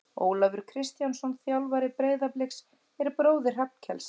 Ólafur Kristjánsson þjálfari Breiðabliks er bróðir Hrafnkels.